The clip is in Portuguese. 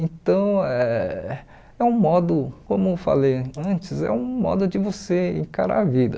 Então, eh é um modo, como eu falei antes, é um modo de você encarar a vida.